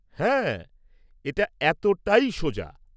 হ্যাঁ, এটা এতটাই সোজা।